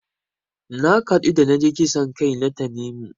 Na kaɗu da naji kisan kai na Tanimu.